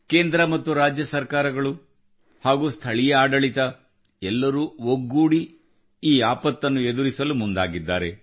ಕೇಂದ್ರ ಮತ್ತು ರಾಜ್ಯ ಸರ್ಕಾರಗಳು ಹಾಗೂ ಸ್ಥಳೀಯ ಆಡಳಿತ ಎಲ್ಲರೂ ಒಗ್ಗೂಡಿ ಈ ಆಪತ್ತನ್ನು ಎದುರಿಸಲು ಮುಂದಾಗಿದ್ದಾರೆ